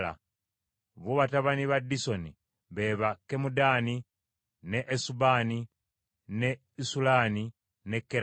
Bo batabani ba Disoni be ba Kemudaani, ne Esubani, ne Isulani ne Kerani.